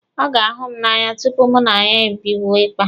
Ọ ga-ahụ m n'anya tupu mụ na ya ebido ịkpa.